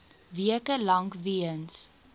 weke lank weens